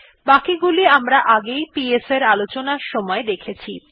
বাকিগুলি আমরা আগে পিএস আলোচনার সময় দেখেছি